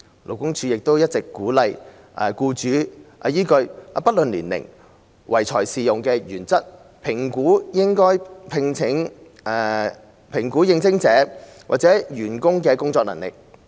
勞工處亦一直鼓勵僱主依據"不論年齡，唯才是用"的原則，評估應徵者或員工的工作能力。